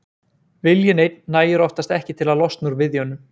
Viljinn einn nægir oftast ekki til að losna úr viðjunum.